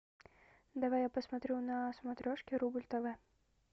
давай я посмотрю на смотрешке рубль тв